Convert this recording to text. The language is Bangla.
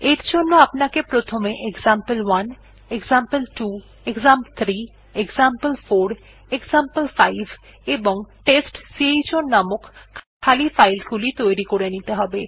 এর জন্য আপনাকে প্রথমে example one example two example three example four example five এবং টেস্টচাউন নামক খালি ফাইল গুলি তৈরী করে নিতে হবে